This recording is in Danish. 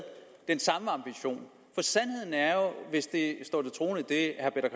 den samme ambition for sandheden er jo at hvis det herre